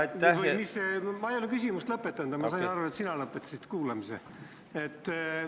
Ma ei ole küsimust lõpetanud, aga ma sain aru, et sina lõpetasid kuulamise.